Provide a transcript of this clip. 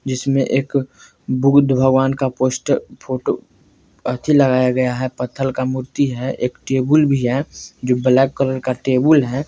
जिसमें एक बुद्ध भगवान का पोस्टर फोटो अथी लगाया गया है पत्थर का मूर्ति है एक टेबुल भी है जो ब्लैक कलर का टेबुल है।